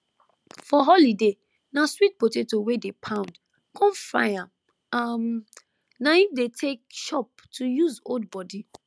for holiday na sweet potato wey dey pound con fry am um na im dey take chop to use hold body